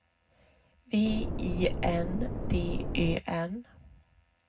V I N D Ö N